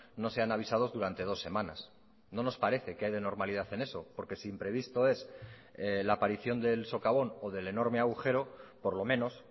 no sean avisados durante dos semanas no nos parece qué hay de normalidad en eso porque si imprevisto es la aparición del socavón o del enorme agujero por lo menos